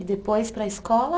E depois para a escola?